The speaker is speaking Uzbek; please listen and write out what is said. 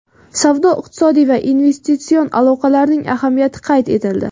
Savdo-iqtisodiy va investitsion aloqalarning ahamiyati qayd etildi.